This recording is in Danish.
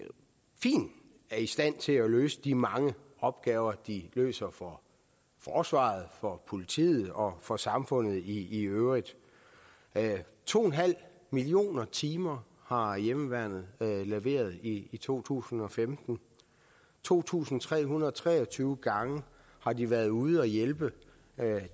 stand til at løse de mange opgaver de løser for forsvaret for politiet og for samfundet i øvrigt to en halv millioner timer har hjemmeværnet leveret i to tusind og femten to tusind tre hundrede og tre og tyve gange har de været ude at hjælpe